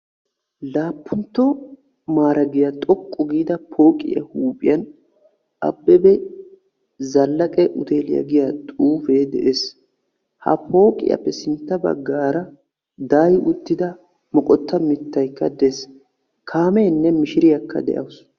Laappuntto maaregiya xoqqu giida pooqiya huuphiyan abebe zalaqe uteeliya giya xuufee de"es. Ha pooqiyaappe sintta baggaara daayi uttida moqotta mittay des. Kaameenne mishiriyaakka de"awus.